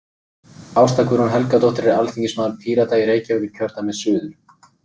Ásta Guðrún Helgadóttir er alþingismaður Pírata í Reykjavíkurkjördæmi suður.